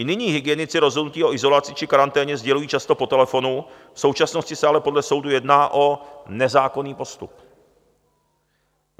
I nyní hygienici rozhodnutí o izolaci či karanténě sdělují často po telefonu, v současnosti se ale podle soudů jedná o nezákonný postup.